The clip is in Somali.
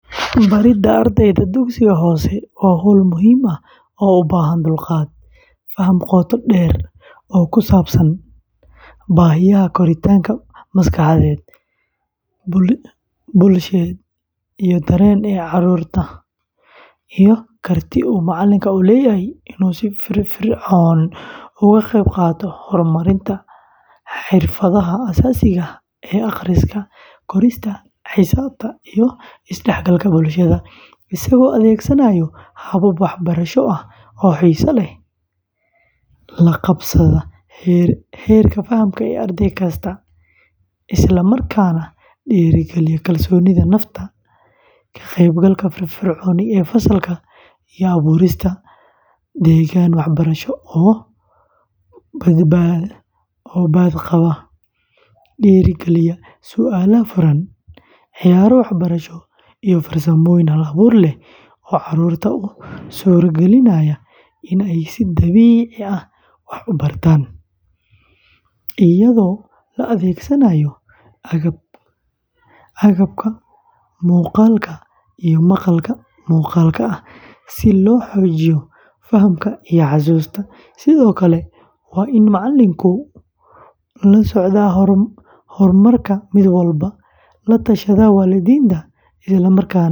Baridda ardayda dugsiga hoose waa hawl muhiim ah oo u baahan dulqaad, faham qoto dheer oo ku saabsan baahiyaha koritaanka maskaxeed, bulsheed iyo dareen ee carruurta, iyo karti uu macallinku u leeyahay inuu si firfircoon uga qayb qaato horumarinta xirfadaha aasaasiga ah ee akhriska, qorista, xisaabta, iyo is-dhexgalka bulshada, isagoo adeegsanaya habab waxbarasho oo xiiso leh, la qabsada heerka faham ee arday kasta, isla markaana dhiirrigeliya kalsoonida nafta, ka qaybgalka firfircoon ee fasalka, iyo abuurista deegaan waxbarasho oo badqaba, dhiirrigeliya su’aalaha furan, ciyaaro waxbarasho, iyo farsamooyin hal-abuur leh oo carruurta u suuragelinaya inay si dabiici ah wax u bartaan, iyadoo la adeegsanaayo agabka muuqaalka iyo maqal-muuqaalka ah si loo xoojiyo fahamka iyo xasuusta; sidoo kale waa in macallinku la socdaa horumarka mid walba, la tashadaa waalidiinta.